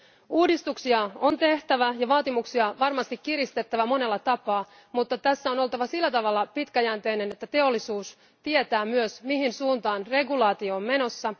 Uudistuksia on tehtävä ja vaatimuksia varmasti kiristettävä monella tapaa, mutta tässä on oltava sillä tavalla pitkäjänteinen, että teollisuus tietää myös mihin suuntaan regulaatio on menossa.